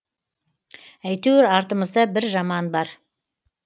әйтеуір артымызда бір жаман бар